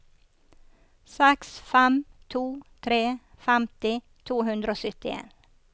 seks fem to tre femti to hundre og syttien